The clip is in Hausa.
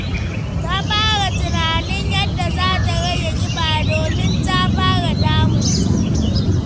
Ta fara tunanin yadda za ta rage ƙiba, domin ta fara damun ta.